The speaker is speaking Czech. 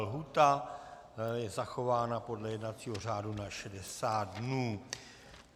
Lhůta je zachována podle jednacího řádu na 60 dnů.